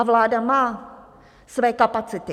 A vláda má své kapacity.